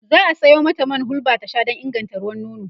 za'a Sayo mata man hulba ta Sha Dan ya inganta ruwan nono